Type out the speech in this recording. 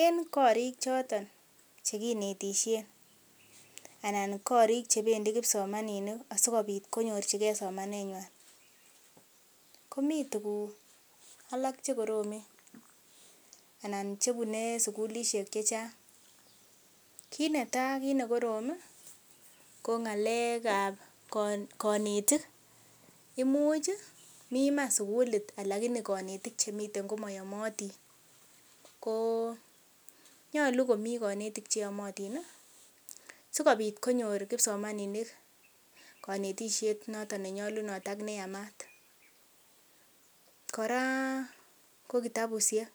En korik choton chekinetisyen anan korik chebendii kipsomaninik asikobit konyorchigee somanet nywan komii tuguk alak chekoromen anan chebune sukulisiek chechang' kit netaa kit nekorom ko ng'alek ab konetik imuch mii iman sukulit lakini konetik cheyomotin ih sikobit konyor kipsomaninik konetisiet noton nenyolunot ak neyamat kora ko kitabusiek